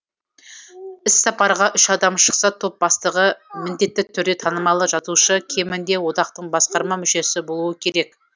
іссапарға үш адам шықса топ бастығы міндетті түрде танымалы жазушы кемінде одақтың басқарма мүшесі болуы керек